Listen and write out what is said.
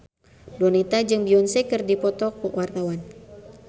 Donita jeung Beyonce keur dipoto ku wartawan